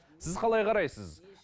сіз қалай қарайсыз